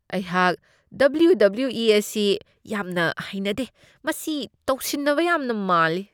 ꯑꯩꯍꯥꯛ W. W. E. ꯑꯁꯤ ꯌꯥꯝꯅ ꯌꯦꯡꯅꯤꯡꯗꯦ ꯫ ꯃꯁꯤ ꯇꯧꯁꯤꯟꯅꯕ ꯌꯥꯝꯅ ꯃꯥꯜꯂꯤ ꯫